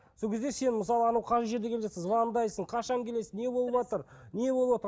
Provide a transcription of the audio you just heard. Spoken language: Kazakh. сол кезде сен мысалы анау қай жерде келе жатырсың звондайсың қашан келесің не болыватыр